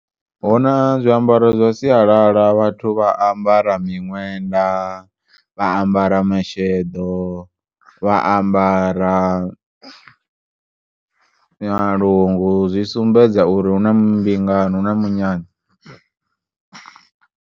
Huna zwiambaro zwa sialala vhathu vha ambara miṅwenda vha ambara masheḓo vha ambara malungu zwisumbedza uri hunambingao huna munyanya.